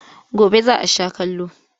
Gobe za a sha kallo.